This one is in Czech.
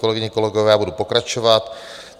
Kolegyně, kolegové, budu pokračovat.